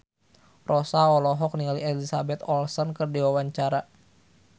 Rossa olohok ningali Elizabeth Olsen keur diwawancara